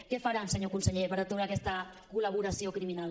què faran senyor conseller per aturar aquesta col·laboració criminal